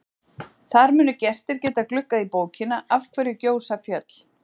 Þar munu gestir geta gluggað í bókina Af hverju gjósa fjöll?